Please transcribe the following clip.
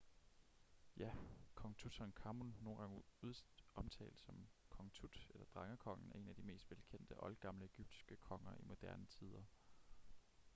ja kong tutankhamun nogle gange omtalt som kong tut eller drengekongen er en af de mest velkendte oldgamle egyptiske konger i moderne tider